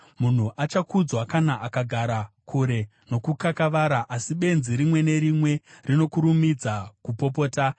Munhu achakudzwa kana akagara kure nokukakavara, asi benzi rimwe nerimwe rinokurumidza kupopota.